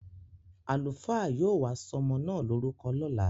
Àlùfáà yóò wá sọmọ na lorúkọ lọ́la.